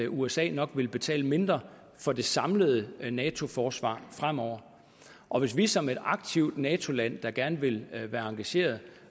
usa nok vil betale mindre for det samlede nato forsvar fremover og hvis vi som et aktivt nato land der gerne vil være engageret